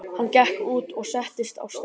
Hann gekk út og settist á stein.